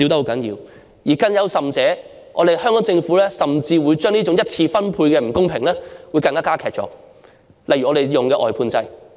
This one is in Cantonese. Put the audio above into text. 更甚的是，香港政府甚至將這種一次分配的不公加劇，例如採用外判制。